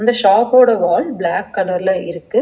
இந்த ஷாப்போட wall black கலர்ல இருக்கு.